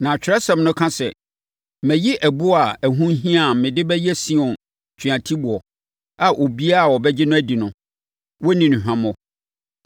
Na Atwerɛsɛm no ka sɛ, “Mayi ɛboɔ a ɛho hia a mede bɛyɛ Sion tweatiboɔ a obiara a ɔbɛgye no adi no, wɔrenni no hwammɔ.”